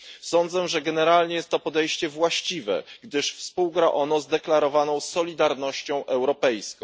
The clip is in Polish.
Sądzę, że generalnie jest to podejście właściwie, gdyż współgra ono zdeklarowaną solidarnością europejską.